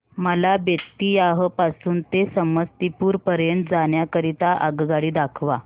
मला बेत्तीयाह पासून ते समस्तीपुर पर्यंत जाण्या करीता आगगाडी दाखवा